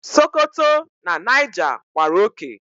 Sokoto na Niger gbàrà oké